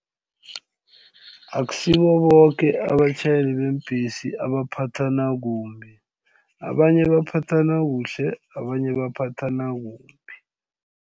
Akusibo boke abatjhayeli beembhesi abaphathana kumbi abanye baphathana kuhle abanye baphathana kumbi.